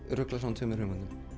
rugla saman tveimur hugmyndum